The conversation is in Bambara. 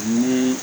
Ni